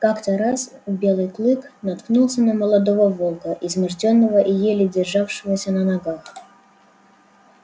как-то раз белый клык наткнулся на молодого волка измождённого и еле державшегося на ногах